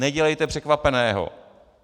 Nedělejte překvapeného.